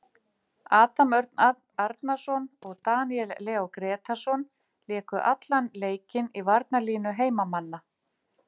Adam Örn Arnarson og Daníel Leó Grétarsson léku allan leikinn í varnarlínu heimamanna.